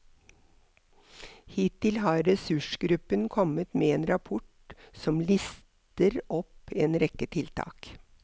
Hittil har ressursgruppen kommet med en rapport som lister opp en rekke tiltak.